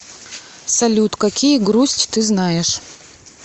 салют какие грусть ты знаешь